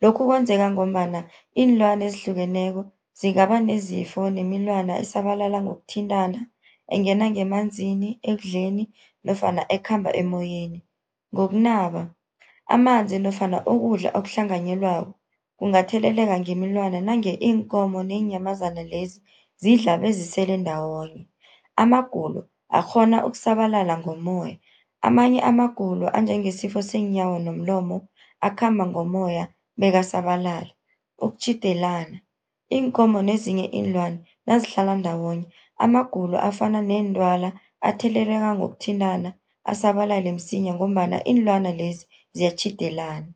Lokhu kwenzeka ngombana iinlwana ezihlukeneko, zingaba nezifo nemilwana esabalala ngokuthintana, engena ngemanzini, ekudleni nofana ekhamba emoyeni. Ngokunaba, amanzi nofana ukudla okuhlanganyelwako, kungatheleleka ngemilwana nange iinkomo neenyamazana lezi zidla bezisele ndawonye. Amagulo akghona ukusabalala ngomoya, amanye amagulo anjengesifo seenyawo nomlomo akhamba ngomoya bekasabalale. Ukutjhidelana, iinkomo nezinye iinlwana nazihlala ndawonye amagulo afana neentwala, atheleleka ngokuthintana asabalale msinya, ngombana iinlwana lezi ziyatjhidelana.